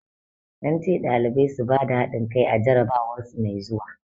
An ce ɗalibai su bada hadin kai a jarabawar su mai zuwa.